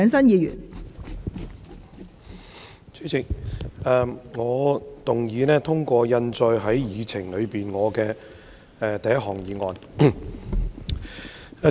代理主席，我動議通過印載於議程內的第一項擬議決議案。